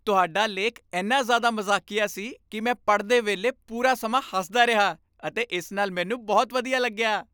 ਤੁਹਾਡਾ ਲੇਖ ਇੰਨਾ ਜ਼ਿਆਦਾ ਮਜ਼ਾਕੀਆ ਸੀ ਕਿ ਮੈਂ ਪੜ੍ਹਦੇ ਵੇਲੇ ਪੂਰਾ ਸਮਾਂ ਹੱਸਦਾ ਰਿਹਾ ਅਤੇ ਇਸ ਨਾਲ ਮੈਨੂੰ ਬਹੁਤ ਵਧੀਆ ਲੱਗਿਆ।